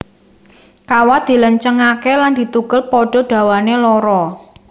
Kawat dilencengake lan ditugel padha dawané loro